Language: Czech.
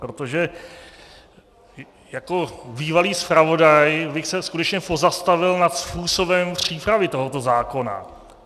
Protože jako bývalý zpravodaj bych se skutečně pozastavil nad způsobem přípravy tohoto zákona.